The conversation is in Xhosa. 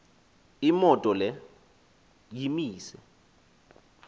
imoto le yimise